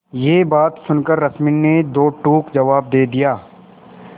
यह बात सुनकर रश्मि ने दो टूक जवाब दे दिया